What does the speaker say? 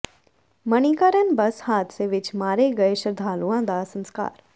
Manikaran bus ਹਾਦਸੇ ਵਿੱਚ ਮਾਰੇ ਗਏ ਸ਼ਰਧਾਲੂਆਂ ਦਾ ਸਸਕਾਰ